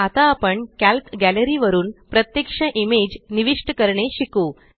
आता आपण Calc gallery वरुन प्रत्यक्ष इमेज निविष्ट करणे शिकू